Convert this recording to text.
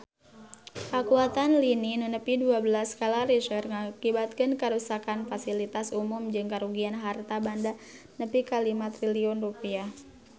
Kakuatan lini nu nepi dua belas skala Richter ngakibatkeun karuksakan pasilitas umum jeung karugian harta banda nepi ka 5 triliun rupiah